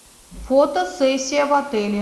фотосессия в отеле